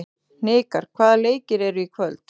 Hnikar, hvaða leikir eru í kvöld?